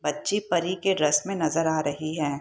बच्ची परी के ड्रेस में नजर आ रही है।